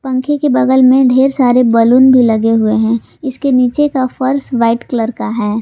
पंखे के बगल में ढेर सारे बैलून भी लगे हुए हैं इसके नीचे का फर्श व्हाइट कलर का है।